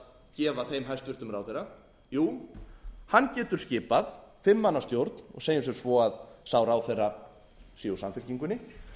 gefa þeim hæstvirtur ráðherra jú hann getur skipað fimm manna stjórn og segjum sem svo að sá ráðherra sé úr samfylkingunni þá gæti